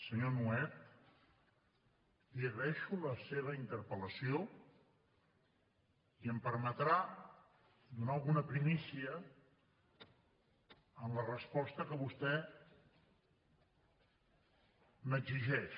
senyor nuet li agraeixo la seva interpel·lació i em permetrà donar alguna primícia en la resposta que vostè m’exigeix